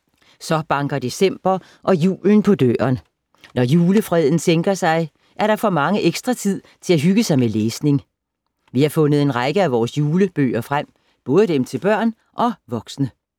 Så banker december og julen på døren. Når julefreden sænker sig, er der for mange ekstra tid til at hygge sig med læsning. Vi har fundet en række af vores julebøger frem, både dem til børn og voksne.